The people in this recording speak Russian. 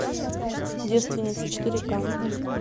девственница четыре ка